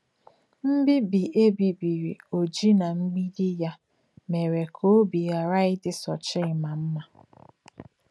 Mbíbí è bíbìrì Ọ́jì nà mgbídí yà mèrè kà òbí ghàrà ìdì Sochímmá m̀má.